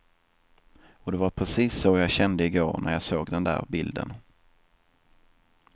Och det var precis så jag kände i går när jag såg den där bilden.